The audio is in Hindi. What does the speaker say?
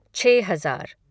छः हज़ार